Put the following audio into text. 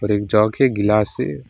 एक जग है गिलास है।